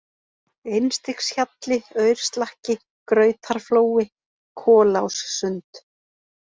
Einstigshjalli, Aurslakki, Grautarflói, Kolássund